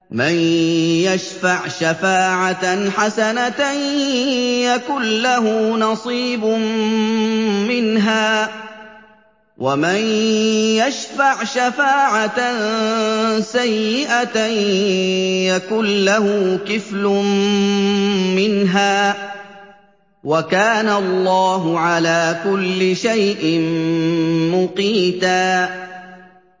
مَّن يَشْفَعْ شَفَاعَةً حَسَنَةً يَكُن لَّهُ نَصِيبٌ مِّنْهَا ۖ وَمَن يَشْفَعْ شَفَاعَةً سَيِّئَةً يَكُن لَّهُ كِفْلٌ مِّنْهَا ۗ وَكَانَ اللَّهُ عَلَىٰ كُلِّ شَيْءٍ مُّقِيتًا